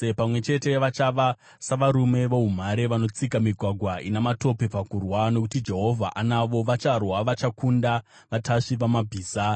Pamwe chete vachava savarume voumhare vanotsika migwagwa ina matope pakurwa. Nokuti Jehovha anavo, vacharwa vachakunda vatasvi vamabhiza.